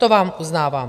To vám uznávám.